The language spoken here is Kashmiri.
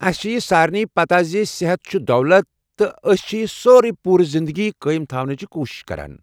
اسہ چھ یہِ سارنٕے پتاہ زِ صحت چُھ دولت، تہٕ أسۍ چھ یہِ سوروے پوُرٕ زندگی قٲیِم تھاونٕچہِ کوُشِش کران۔